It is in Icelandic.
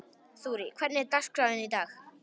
Þurí, hvernig er dagskráin í dag?